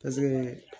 Paseke